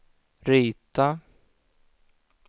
rita